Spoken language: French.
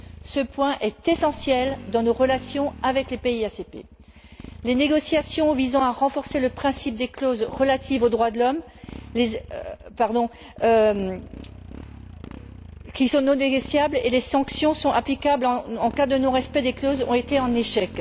Ce point est essentiel dans nos relations avec les pays ACP. Les négociations visant à renforcer le principe des clauses relatives aux droits de l'homme, qui sont en fait non négociables, et les sanctions applicables en cas de non respect de ces clauses ont été un échec.